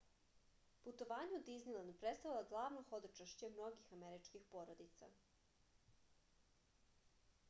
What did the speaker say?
putovanje u diznilend predstavlja glavno hodočašće mnogih američkih porodica